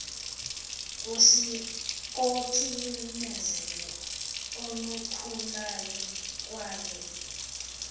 kocinezelo olukhulayo kwaye